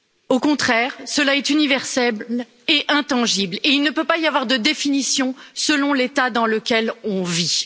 Au contraire, ils sont universels et intangibles, et il ne peut pas y avoir de définition selon l'État dans lequel on vit.